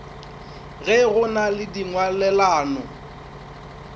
ge go na le dingwalelano